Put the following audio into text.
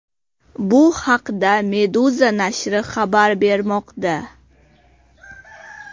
Bu haqda Meduza nashri xabar bermoqda .